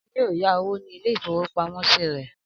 Akin yóò ya owó ní ilé-ìfowópamọ́sí rẹ̀.